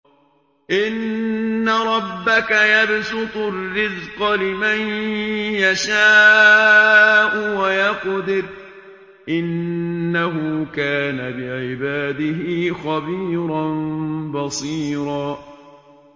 إِنَّ رَبَّكَ يَبْسُطُ الرِّزْقَ لِمَن يَشَاءُ وَيَقْدِرُ ۚ إِنَّهُ كَانَ بِعِبَادِهِ خَبِيرًا بَصِيرًا